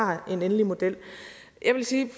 har en endelig model jeg vil sige